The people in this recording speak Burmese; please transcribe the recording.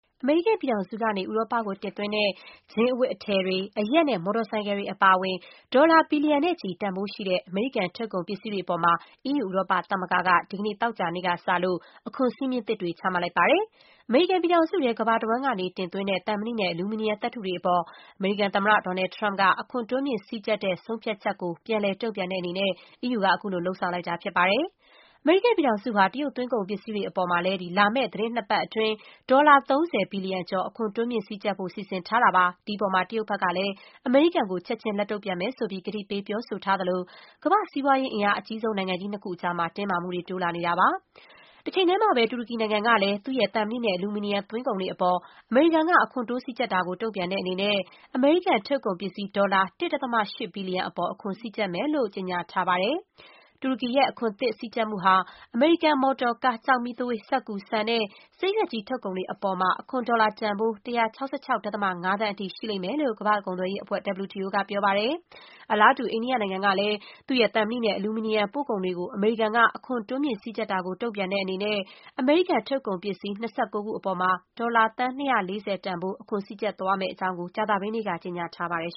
အမေရိကန်ပြည်ထောင်စုကနေ ဥရောပကိုတင်သွင်းတဲ့ ဂျင်းအဝတ်အထည်တွေ၊ အရက် နဲ့ မော်တော်ဆိုင်ကယ်တွေ အပါအဝင် ဒေါ်လာ ဘီလျံနဲ့ချီ တန်ဖိုးရှိတဲ့ အမေရိကန် ထုတ် ကုန်ပစ္စည်းတွေအပေါ် အီးယူ ဥရောပသမဂ္ဂက ဒီကနေ့ သောကြာနေ့ကစလို့ အခွန် စည်းမျဉ်း သစ်တွေ ချမှတ်လိုက်ပါတယ်။ အမေရိကန်ပြည်ထောင်စုထဲ ကမ္ဘာတဝှမ်းကနေ တင်သွင်းလာတဲ့ သံမဏိနဲ့ အလူမီနီယံ သတ္တုတွေအပေါ် အမေရိကန်သမ္မတ Donald Trump အခွန် တိုးမြှင့် စည်းကျပ်တဲ့ ဆုံးဖြတ်ချက်ကို ပြန်လည် တုံ့ပြန်တဲ့အနေနဲ့ အီးယူက အခုလို လုပ်ဆောင်လိုက်တာ ဖြစ်ပါတယ်။ အမေရိကန်ပြည်ထောင်စုဟာ တရုတ်သွင်းကုန်ပစ္စည်းတွေအပေါ်မှာလည်း လာမယ့် သီတင်းနှစ်ပတ် အတွင်း ဒေါ်လာ ၃၀ ဘီလျံကျော် အခွန် တိုးမြှင့် စည်းကျပ်ဖို့ စီစဉ်ထား တာပါ။ ဒီအပေါ်မှာ တရုတ်ကလည်း အမေရိကန်ကို ချက်ချင်း လက်တုံ့ပြန်မယ်ဆိုပြီး ကတိပေး ပြောထားသလို၊ ကမ္ဘာ့စီးပွားရေး အင်အားအကြီးဆုံး နိုင်ငံကြီးနှစ်ခုအကြား တင်းမာမှုတွေ တိုးလာနေတာ ဖြစ်ပါတယ်။ တချိန်တည်းမှာပဲ တူရကီနိုင်ငံကလည်း သူ့ရဲ့ သံမဏိနဲ့ အလူမီနီယံ သွင်းကုန်တွေအပေါ် အမေရိကန်က အခွန်တိုး စည်းကျပ်တာကို တုံ့ပြန်တဲ့အနေနဲ့ အမေရိကန်ထုတ် ကုန်ပစ္စည်း ဒေါ်လာ ၁.၈ ဘီလျံအပေါ် အခွန် စည်းကျပ်မယ်လို့ ကြေညာထားပါတယ်။ တူရကီရဲ့ အခွန်သစ် စည်းကျပ်မှုဟာ အမေရိကန်မော်တော်ကား၊ ကျောက်မီးသွေး၊ စက္ကူ၊ ဆန် နဲ့ ဆေးရွက်ကြီး ထုတ်ကုန်တွေအပေါ် အခွန် ဒေါ်လာ တန်ဖိုး ၁၆၆.၅ သန်းအထိ ရှိလိမ့်မယ်လို့ ကမ္ဘာ့ကုန်သွယ်ရေးအဖွဲ့ WTO က ပြောပါတယ်။ အလားတူ အိန္ဒိယနိုင်ငံကလည်း သူ့ရဲ့ သံမဏိနဲ့ အလူမီနီယံ ပို့ကုန်တွေကို အမေရိကန်က အခွန် တိုးမြှင့် စည်းကျပ်တာကို တုံ့ပြန်တဲ့အနေနဲ့ အမေရိကန်ထုတ်ကုန်ပစ္စည်း ၂၉ ခုအပေါ်မှာ ဒေါ်လာ သန်း ၂၄၀ တန်ဖိုး အခွန်းစည်းကျပ်သွားမယ့်အကြောင်း ကြာသပတေးနေ့က ကြေညာထားပါတယ်